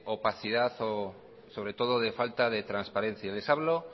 opacidad o sobre todo de falta de transparencia y les hablo